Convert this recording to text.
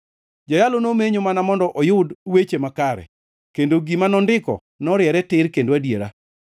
Jayalo nomenyo mana mondo oyud weche makare, kendo gima nondiko noriere tir kendo adiera.